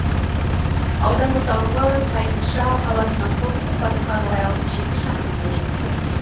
аудан орталығы тайынша қаласынан солтүстік батысқа қарай алпыс жеті шақырымдай жерде